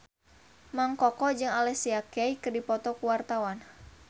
Mang Koko jeung Alicia Keys keur dipoto ku wartawan